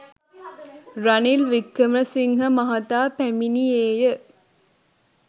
රනිල් වික්‍රමසිංහ මහතා පැමිණියේය